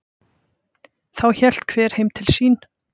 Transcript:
Þá hélt hver heim til sín.